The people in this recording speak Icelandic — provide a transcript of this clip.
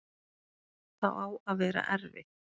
Það á að vera erfitt.